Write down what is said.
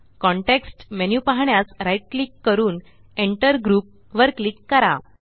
context menu पाहण्यास right click करूनEnter group वर क्लिक करा